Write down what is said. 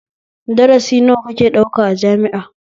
Darasi nawa kake ɗauka a jami'a?